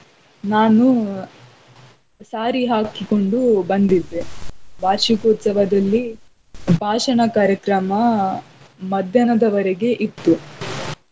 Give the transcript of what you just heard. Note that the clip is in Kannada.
ನಾನು saari ಹಾಕಿಕೊಂಡು ಬಂದಿದ್ದೆ. ವಾರ್ಷಿಕೋತ್ಸವದಲ್ಲಿ ಭಾಷಣ ಕಾರ್ಯಕ್ರಮ ಮಧ್ಯಾಹ್ನದವರೆಗೆ ಇತ್ತು .